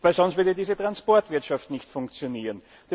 Denn sonst würde diese Transportwirtschaft nicht funktionieren.